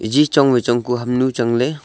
ji chong vai chong ku hamnu chang ley.